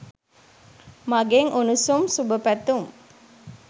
මගෙන් උණුසුම් සුබ පැතුම්